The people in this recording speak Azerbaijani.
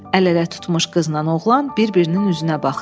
Əl-ələ tutmuş qızla oğlan bir-birinin üzünə baxdı.